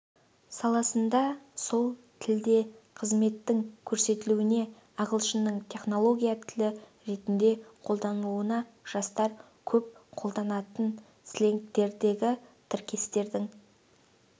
саласында сол тілде қызметтің көрсетілуіне ағылшынның технология тілі ретінде қолданылуына жастар көп қолданатын сленгтердегі тіркестердің